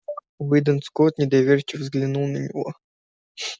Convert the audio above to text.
уидон скотт недоверчиво взглянул на него